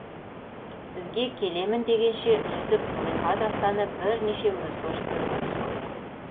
бізге келемін дегенше жүсіп зылиха дастаны бірнеше өзгерістерге түскен